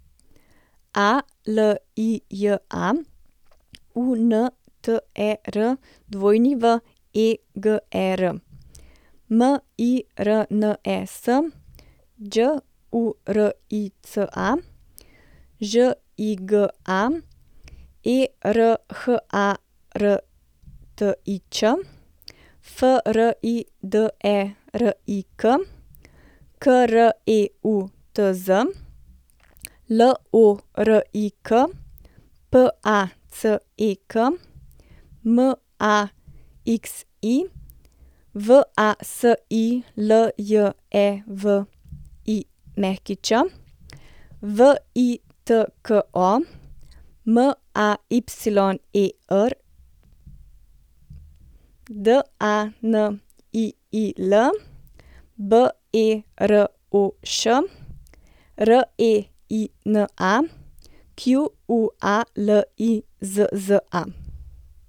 Alija Unterweger, Mirnes Đurica, Žiga Erhartič, Friderik Kreutz, Lorik Pacek, Maxi Vasiljević, Vitko Mayer, Daniil Beroš, Reina Qualizza.